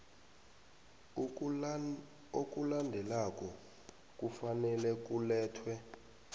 okulandelako kufanele kulethwe